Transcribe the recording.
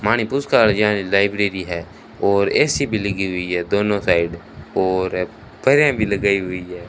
Library है और AC भी लगी हुई है दोनों साइड और भी लगाई हुई है।